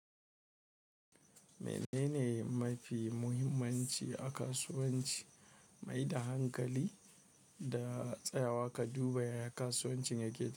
Menene mafi muhimmanci a kasuwanci? Maida hankali da tsayawa ka duba yaya kasuwancin yake ci.